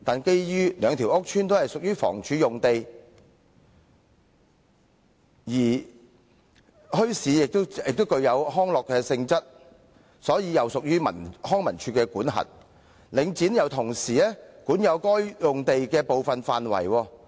然而，兩個屋邨均屬房屋署用地，而墟市也具康樂性質，因此又屬於康樂及文化事務署的管轄範圍，而領展亦同時管有該等用地的部分範圍。